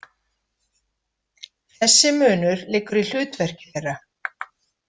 Þessi munur liggur í hlutverki þeirra.